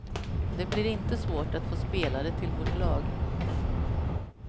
Det blir inte svårt att få spelare till vårt lag.